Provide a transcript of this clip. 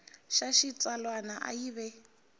xa xitsalwana a yi ve